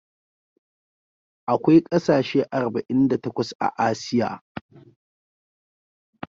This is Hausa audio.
Akwai kasashe arba'in da takwas a Asiya.